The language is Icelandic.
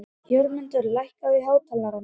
Jörmundur, lækkaðu í hátalaranum.